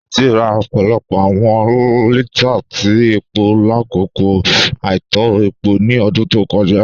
Títí rà ọpọlọpọ awọn lítàà tí epo lákọkọ àìtọ̀ epo ni ọ̀dún tó kọja.